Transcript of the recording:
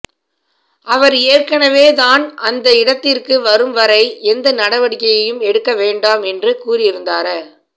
அவர் ஏற்கனவே தான் அந்த இடத்திற்கு வரும்வரை எந்த நடவடிக்கையையும் எடுக்க வேண்டாம் என்று கூறியிருந்தார